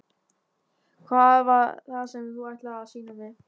Hvað var það sem þú ætlaðir að sýna mér?